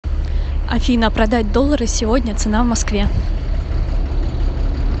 афина продать доллары сегодня цена в москве